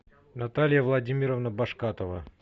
наталия владимировна башкатова